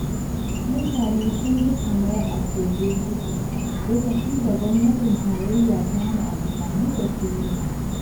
Mutane sun ji kamar a kogo suke, lokacin da Gwamnatin Tarayya ta hana amfani da tiwita.